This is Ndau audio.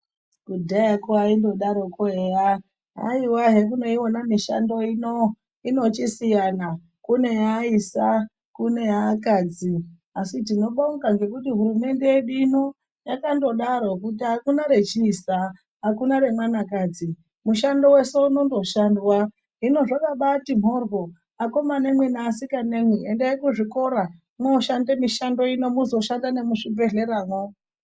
Kudhayakwo aindodaroko eya haiwa hemunoiona mishando ino inosiyana . Kune yeaisa, kune yeakadzi asi tinobonga nekuti hurumende yedu ino yakandodaro kuti akuna rechiisa hakuna remwanakadzi mushando wese unondoshandwa hino akomana neasikanamwi endai kuzvikora mwoshande mishando ino muzoshanda nemuzvibhedhleramwo.